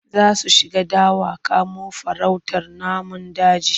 Za su shiga dawa kamo farautar namun daji.